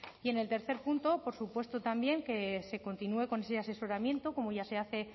y en el tercer punto por supuesto también que se continúe con ese asesoramiento como ya se hace